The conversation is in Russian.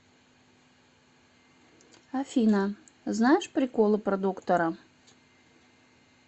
афина знаешь приколы про доктора